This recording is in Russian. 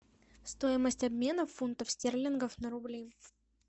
стоимость обмена фунтов стерлингов на рубли